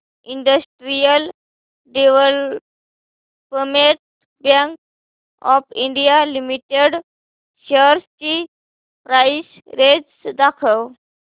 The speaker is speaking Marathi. industrial development bank of India limited shares ची प्राइस रेंज दाखव